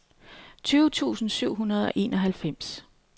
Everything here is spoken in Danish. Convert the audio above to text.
tyve tusind syv hundrede og enoghalvfems